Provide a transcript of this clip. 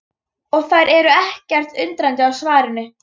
Og þær eru ekkert undrandi á svarinu.